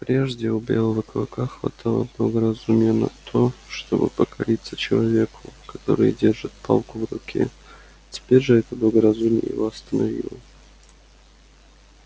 прежде у белого клыка хватало благоразумия на то чтобы покориться человеку который держит палку в руке теперь же это благоразумие его остановило